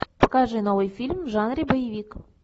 покажи новый фильм в жанре боевик